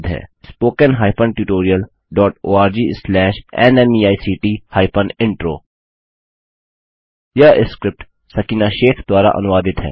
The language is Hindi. spoken hyphen tutorial dot org slash NMEICT hyphen intro यह स्क्रिप्ट सकीना शेख द्वारा अनुवादित है